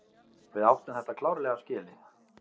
Við áttum þetta klárlega skilið.